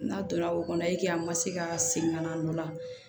N'a donna o kɔnɔ a ma se ka segin ka na n'o la